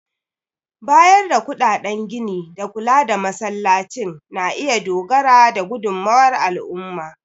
Bayar da kuɗaɗen gini da kula da Masallacin na iya dogara da gudunmawar al'umma.